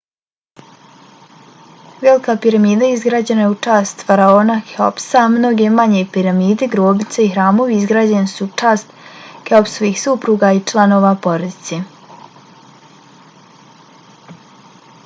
velika piramida izgrađena je u čast faraona keopsa a mnoge manje piramide grobnice i hramovi izgrađeni su u čast keopsovih supruga i članova porodice